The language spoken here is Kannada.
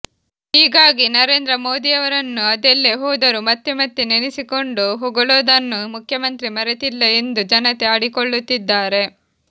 ಹೀಗಾಗಿ ನರೇಂದ್ರ ಮೋದಿಯವರನ್ನು ಅದೆಲ್ಲೇ ಹೋದರೂ ಮತ್ತೆ ಮತ್ತೆ ನೆನೆಸಿಕೊಂಡು ಹೊಗಳೋದನ್ನು ಮುಖ್ಯಮಂತ್ರಿ ಮರೆತಿಲ್ಲ ಎಂದು ಜನತೆ ಆಡಿಕೊಳ್ಳುತ್ತಿದ್ದಾರೆ